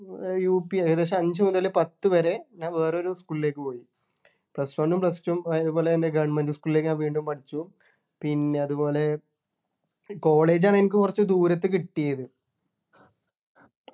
ഏർ UP ഏകദേശം അഞ്ചു മുതൽ പത്തു വരെ ഞാൻ വേറൊരു school ലേക്ക് പോയി Plus one ഉം Plus two ഉം അതുപോലെ തന്നെ Government school ലേക്ക് ഞാൻ വീണ്ടും പഠിച്ചു പിന്നെ അതുപോലെ college ആണ് എനിക്ക് കുറച്ച് ദൂരത്ത് കിട്ടിയത്